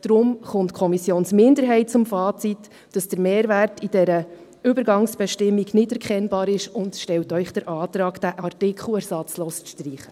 Deshalb kommt die Kommissionsminderheit zum Fazit, dass der Mehrwert in dieser Übergangsbestimmung nicht erkennbar ist, und stellt Ihnen den Antrag, diesen Artikel ersatzlos zu streichen.